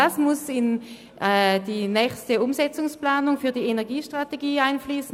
Diese müssen in die nächste Umsetzungsplanung betreffend die Energiestrategie einfliessen.